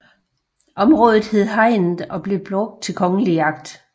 Området hed Hegnet og blev brugt til kongelig jagt